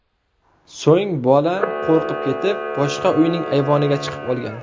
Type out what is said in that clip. So‘ng bola qo‘rqib ketib, boshqa uyning ayvoniga chiqib olgan.